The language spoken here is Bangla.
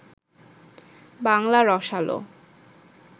বাংলা রসালো